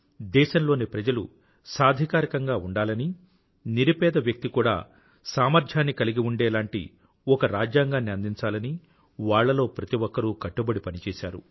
దేశంలోని ప్రజలు సాధికారకంగా ఉండాలని నిరుపేద వ్యక్తి కూడా సామర్థ్యాన్ని కలిగి ఉండేలాంటి ఒక రాజ్యాంగాన్ని అందించాలని వాళ్ళలో ప్రతి ఒక్కరూ కట్టుబడి పనిచేసారు